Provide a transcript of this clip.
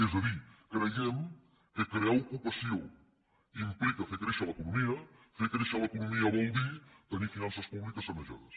és a dir creiem que crear ocupació implica fer créixer l’economia i fer créixer l’economia vol dir tenir finances públiques sanejades